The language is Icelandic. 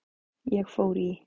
Ég fór í